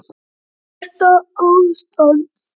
Þetta ástand?